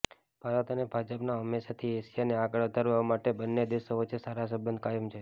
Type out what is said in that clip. ભારત અને જાપાન હંમેશાથી એશિયાને આગળ વધારવા માટે બંને દેશો વચ્ચે સારા સંબંધ કાયમ છે